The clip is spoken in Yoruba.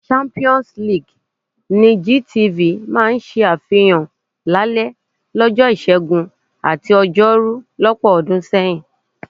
Champions league ni GTV máa ń ṣàfihàn lálẹ́ ọjọ́ Ìṣẹ́gun àti Ọjọ́rú lọ́pọ̀ ọdún sẹ́yìn.